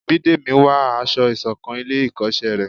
Bídèmí n wá aṣọ isokan ilé ikoṣẹ rẹ